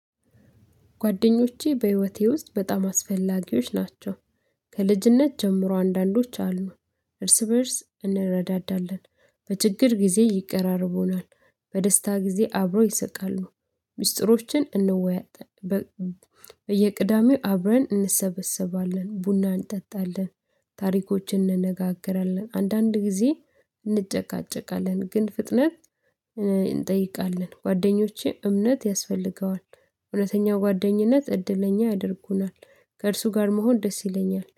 ጓደኞቼ በህይወቴ ውስጥ በጣም አስፈላጊዎች ናቸው፣ ከልጅነት ጀምሮ አንዳንዶች አሉ እርስ በእርስ እንረዳዳለን፣ በችግር ጊዜ ይቀራረቡናል በደስታ ጊዜ አብሮ ይሰቃሉ፣ ሚስጥሮችን እንወያያለን በየቅዳሜው አብረን እንሰበሰባለን፣ ቡና እንጠጣለን፣ ታሪኮችን እንነጋገራለን፣ አንዳንድ ጊዜ እንጨቃጨቃለን ግን ፍጥነት እንጠይቃለን፣ ጓደኞቼ እምነት ያስፈልገዋል እውነተኛው ጓደኝነት እድለኛ ያደርጉናል ከእርሱ ጋር መሆን ደስ ይለኛል።